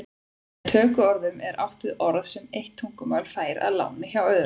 Með tökuorðum er átt við orð sem eitt tungumál fær að láni hjá öðru.